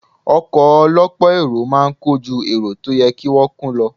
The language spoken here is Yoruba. Ọkọ̀ ọ lọ́pọ̀ èrò máa ń kọ́ ju èrò tó yẹ kí wón kò lo.